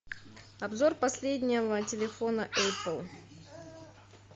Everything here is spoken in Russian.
обзор последнего телефона эппл